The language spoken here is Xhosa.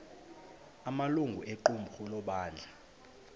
amalungu equmrhu lebandla